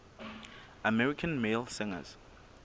american male singers